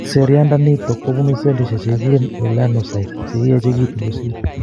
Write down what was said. Seriat ndanitok kobunuu sellishek chekikuren melanocytes chekiyechekitun kosir